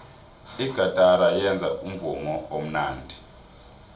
igatara yenza umvumo omnandi